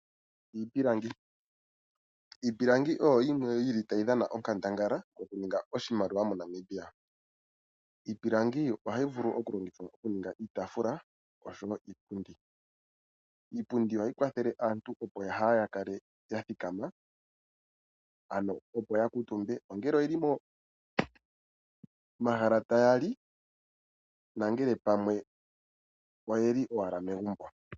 Iipilangi, Iipilangi oyo yimwe yili tayi dhana onkandangala mokuninga iimaliwa moNamibia. Iipilangi ohayi vulu okulongithwa okuninga iitaafula osho wo iipundi. Iipundi ohayi kwathele aantu opo kaayakale yathikama ano opo yakuutumbe ongele oyeli momahala tayali na pamwe oyeli owala megumbo.